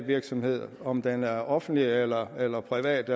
virksomhed om den er offentlig eller eller privat